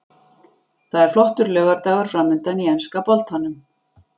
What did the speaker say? Það er flottur laugardagur framundan í enska boltanum.